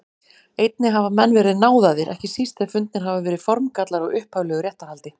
Einnig hafa menn verið náðaðir, ekki síst ef fundnir hafa verið formgallar á upphaflegu réttarhaldi.